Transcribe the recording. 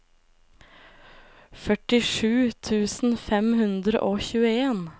førtisju tusen fem hundre og tjueen